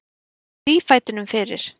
Kom þrífætinum fyrir.